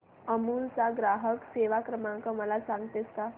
अमूल चा ग्राहक सेवा क्रमांक मला सांगतेस का